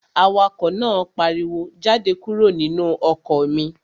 Awakọ̀ náà pariwo, "Jáde kúrò nínú ọkọ̀ mi!"